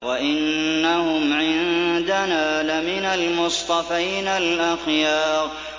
وَإِنَّهُمْ عِندَنَا لَمِنَ الْمُصْطَفَيْنَ الْأَخْيَارِ